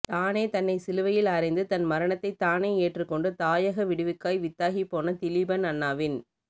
தானே தன்னை சிலுவையில் அறைந்து தன் மரணத்தை தானே ஏற்றுக்கொண்டு தாயக விடிவுக்காய் வித்தாகிப்போன திலீபன் அண்ணாவின்